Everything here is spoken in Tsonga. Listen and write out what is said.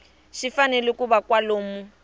xi fanele ku va kwalomu